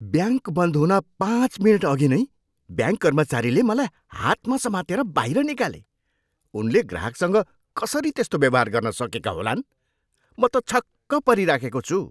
Bank बन्द हुन पाँच मिनटअघि नै ब्याङ्क कर्मचारीले मलाई हातमा समातेर बाहिर निकाले। उनले ग्राहकसँग कसरी त्यस्तो व्यवहार गर्न सकेका होलान्! म त छक्क परिराखेको छु।